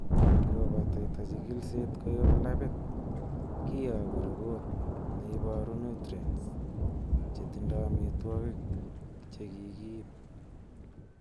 Ingobataita chigilisiet koyob labit, kiyoku ripot neiboru nutrients chetindo amitwogik che kikiib.